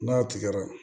N'a tigɛra